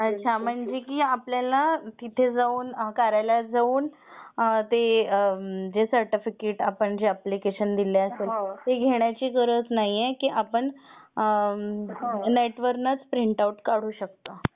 म्हणजे की आपल्याला तिथे जाऊन कार्यालयात जाऊन जे सर्टिफिकेट aआपण जे अप्लिकेशन दिले ते घेण्याची गरज नाही आहे ते आपण नेट वरुनच प्रिंटआउट काढू शकतो.